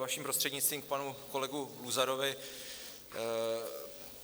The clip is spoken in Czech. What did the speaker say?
Vaším prostřednictvím k panu kolegovi Luzarovi.